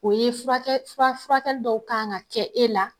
O ye furakɛ fura furakɛli dɔw kan ka kɛ e la.